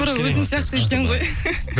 тура өзін сияқты іштің ғой